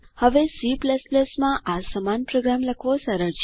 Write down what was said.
હવે C માં આ સમાન પ્રોગ્રામ લખવો સરળ છે